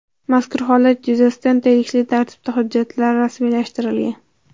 Mazkur holat yuzasidan tegishli tartibda hujjatlar rasmiylashtirilgan.